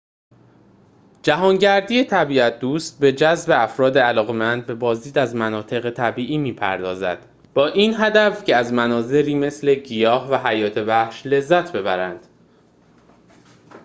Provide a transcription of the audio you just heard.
جهانگردی طبیعت‌دوست به جذب افراد علاقه‌مند به بازدید از مناطق طبیعی می‌پردازد با این هدف که از مناظری مثل گیاهان و حیات وحش لذت ببرند